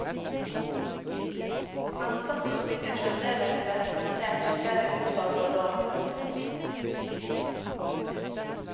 Han satt og sitter fremdeles representert i flere utvalg og råd. punktum